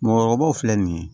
Mɔɔkɔrɔbaw filɛ nin ye